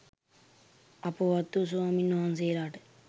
අපවත් වූ ස්වමින්වහන්සේලාට